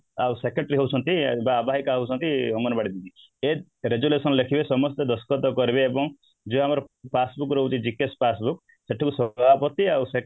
ଆଉ secretary ହଉଛନ୍ତି ଆବାହିକା ହଉଛନ୍ତି ଅଙ୍ଗନବାଡି ଦିଦି ସିଏ resolution ଲେଖିବେ ସମସ୍ତେ ଦସ୍ତଖତ କରିବେ ଏବଂ ଯିଏ ଆମର passbook ରହୁଛି GKS passbook ସେଇଠି ବି ସଭାପତି ଆଉ